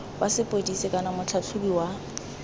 wa sepodisi kana motlhatlhobi wa